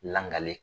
Langale